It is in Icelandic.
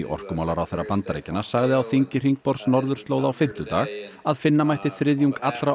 orkumálaráðherra Bandaríkjanna sagði á þingi hringborðs norðurslóða á fimmtudag að finna mætti þriðjung allra